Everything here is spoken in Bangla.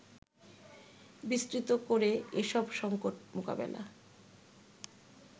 বিস্তৃত করে এসব সংকট মোকাবিলা